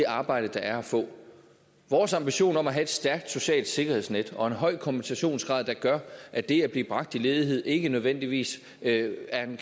arbejde der er at få vores ambition om at have et stærkt socialt sikkerhedsnet og en høj kompensationsgrad der gør at det at blive bragt i ledighed ikke nødvendigvis er en